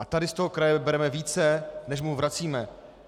A tady z toho kraje bereme více, než mu vracíme.